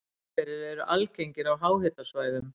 Leirhverir eru algengir á háhitasvæðum.